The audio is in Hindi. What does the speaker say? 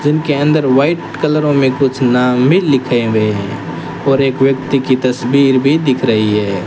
जिम के अंदर व्हाइट कलरों में कुछ नाम भी लिखे हुए हैं और एक व्यक्ति की तस्वीर भी दिख रही है।